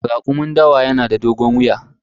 Rakumin dawa yanada dogon wuya.